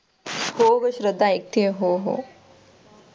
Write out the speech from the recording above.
हो, श्रद्धा ऐकते आहे हो हो.